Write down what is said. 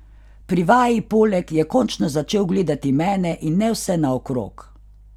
Pri vaji poleg je končno začel gledati mene in ne vse naokrog.